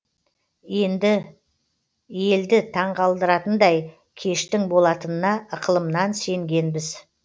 елді таңғалдыратындай кештің болатынына ықылымнан сенгенбіз